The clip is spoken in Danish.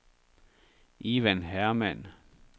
Ivan Hermann